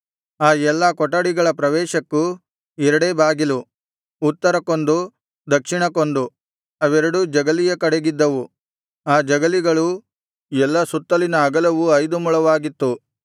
ಆ ಎಲ್ಲಾ ಕೊಠಡಿಗಳ ಪ್ರವೇಶಕ್ಕೂ ಎರಡೇ ಬಾಗಿಲು ಉತ್ತರಕ್ಕೊಂದು ದಕ್ಷಿಣಕ್ಕೊಂದು ಅವೆರಡೂ ಜಗಲಿಯ ಕಡೆಗಿದ್ದವು ಆ ಜಗಲಿಗಳೂ ಎಲ್ಲಾ ಸುತ್ತಲಿನ ಅಗಲವು ಐದು ಮೊಳವಾಗಿತ್ತು